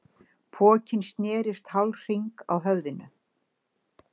Pokinn snerist hálfhring á höfðinu.